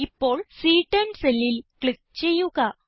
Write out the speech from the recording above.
ഇപ്പോൾ സി10 സെല്ലിൽ ക്ലിക്ക് ചെയ്യുക